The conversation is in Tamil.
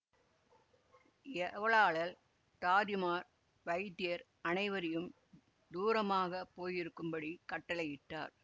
ஏவலாளர் தாதிமார் வைத்தியர் அனைவரையும் தூரமாகப் போயிருக்கும் படி கட்டளையிட்டார்